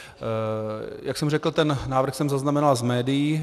Jak jsem řekl, ten návrh jsem zaznamenal z médií.